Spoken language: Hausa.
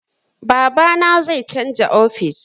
Babana zai canza ofis